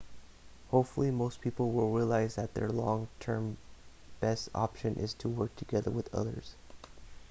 hopefully most people will realise that their long term best option is to work together with others